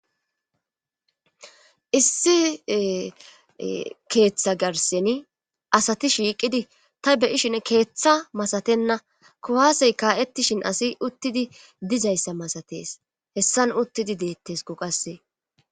issi keeththa garseni asati shiiqidi ta beyishin keeththa masatenna kuhaasey kaa7ettishin asi uttidi dizayssa masates hessan uttidi deettesku qasse